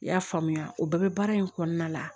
I y'a faamuya o bɛɛ bɛ baara in kɔnɔna la